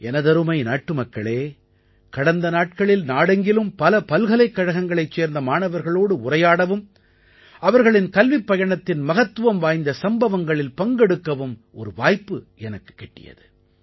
எனதருமை நாட்டுமக்களே கடந்த நாட்களில் நாடெங்கிலும் பல பல்கலைக்கழகங்களைச் சேர்ந்த மாணவர்களோடு உரையாடவும் அவர்களின் கல்விப்பயணத்தின் மகத்துவம் வாய்ந்த சம்பவங்களில் பங்கெடுக்கவும் ஒரு வாய்ப்பு எனக்குக் கிட்டியது